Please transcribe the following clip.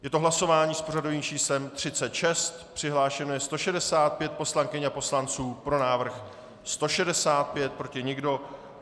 Je to hlasování s pořadovým číslem 36, přihlášeno je 165 poslankyň a poslanců, pro návrh 165, proti nikdo.